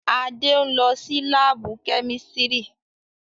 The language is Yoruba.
Ade n lọ si laabu kemistri